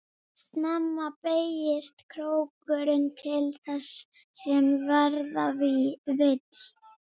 Snemma beygist krókurinn til þess sem verða vill.